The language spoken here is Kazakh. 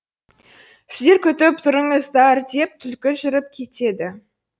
сіздер күтіп тұрыңыздар деп түлкі жүріп кетеді